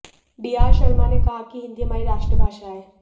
D R Sharma ने कहा कि हिंदी हमारी राष्ट्रभाषा है